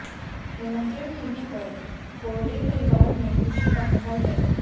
निमंत्रण मिलने पर कोरडे परिवार में खुशी का माहौल है